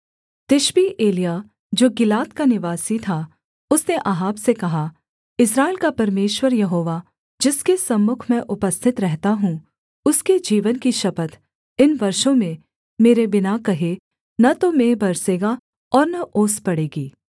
तिशबी एलिय्याह जो गिलाद का निवासी था उसने अहाब से कहा इस्राएल का परमेश्वर यहोवा जिसके सम्मुख मैं उपस्थित रहता हूँ उसके जीवन की शपथ इन वर्षों में मेरे बिना कहे न तो मेंह बरसेगा और न ओस पड़ेगी